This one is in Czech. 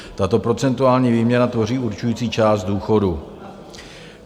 Tato procentuální výměra tvoří určující část důchodu.